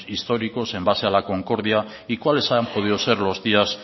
históricos en base a la concordia y cuáles han podido ser los días